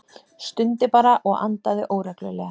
Stundi bara og andaði óreglulega.